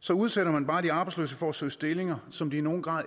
så udsætter man bare de arbejdsløse for at søge stillinger som de i nogen grad